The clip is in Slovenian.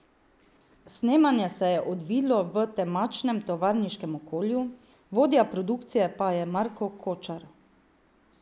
Snemanje se je odvilo v temačnem tovarniškem okolju, vodja produkcije pa je Marko Kočar.